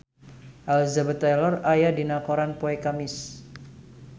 Elizabeth Taylor aya dina koran poe Kemis